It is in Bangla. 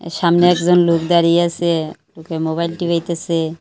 সামনে একজন লোক দাঁড়িয়ে আসে মুখে মোবাইল টিপাইতেসে।